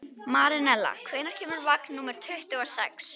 Marinella, hvenær kemur vagn númer tuttugu og sex?